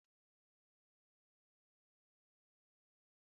Ọ na-amasị m iri spageetí n'abalị